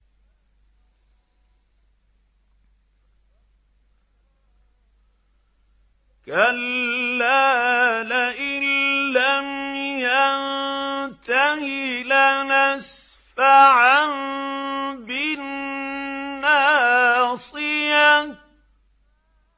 كَلَّا لَئِن لَّمْ يَنتَهِ لَنَسْفَعًا بِالنَّاصِيَةِ